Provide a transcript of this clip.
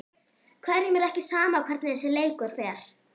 Hverjum er ekki sama hvernig þessi leikur fer?